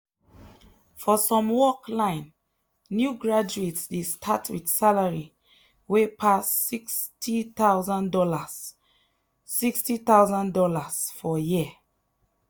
for some work line new graduates dey start with salary wey pass $60000 $60000 for year.